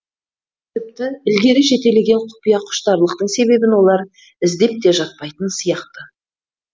тіпті ілгері жетелеген құпия құштарлықтың себебін олар іздеп те жатпайтын сияқты